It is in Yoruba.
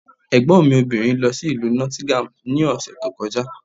Ẹ̀gbọ́n mi obìnrin lọ sí Ìlú Nottingham ní ọ̀sẹ̀ tó kọjá.